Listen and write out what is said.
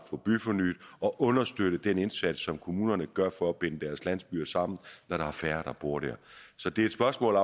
få byfornyet og understøtte den indsats som kommunerne gør for at binde deres landsbyer sammen når der er færre der bor der så det er et spørgsmål